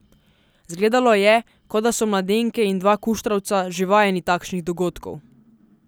Zgledalo je, kot da so mladenke in dva kuštravca že vajeni takšnih dogodkov.